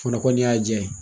O fana kɔni y'a jaa ye.